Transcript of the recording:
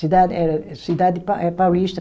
Cidade eh, cidade pa eh Paulista